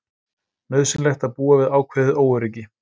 Nauðsynlegt að búa við ákveðið óöryggi